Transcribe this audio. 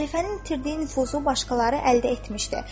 Xəlifənin itirdiyi nüfuzu başqaları əldə etmişdi.